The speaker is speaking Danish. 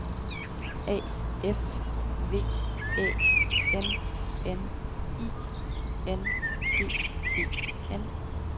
A F V Æ N N I N G E N